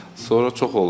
Sonra çox olub yəni.